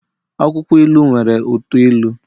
akwukwo ilu nwere uto ilu